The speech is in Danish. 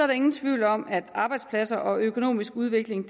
der ingen tvivl om at arbejdspladser og økonomisk udvikling